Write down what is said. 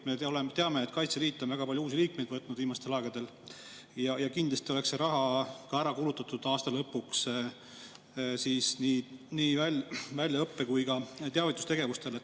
Me teame, et Kaitseliit on väga palju uusi liikmeid vastu võtnud viimastel aegadel ja kindlasti oleks see raha ära kulutatud aasta lõpuks nii väljaõppele kui ka teavitustegevusele.